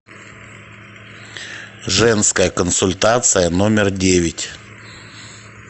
женская консультация номер девять